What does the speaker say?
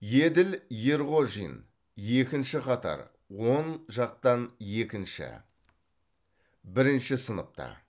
еділ ерғожин екінші қатар оң жақтан екінші бірінші сыныпта